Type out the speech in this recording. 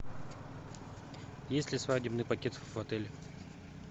есть ли свадебный пакет в отеле